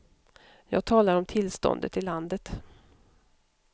Jag talar om tillståndet i landet.